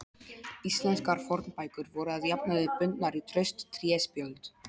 Íslenskar fornbækur voru að jafnaði bundnar í traust tréspjöld.